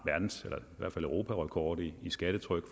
europarekord i skattetryk